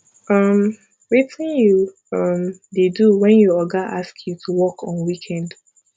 um wetin you um dey do when your oga ask you to work on weekend